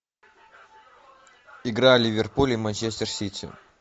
игра ливерпуль и манчестер сити